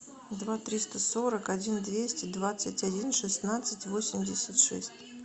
два триста сорок один двести двадцать один шестнадцать восемьдесят шесть